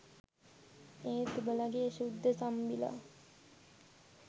ඒත් උඹලගේ ශුද්ධ තම්බිලා